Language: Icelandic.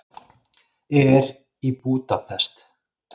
Er í Búdapest.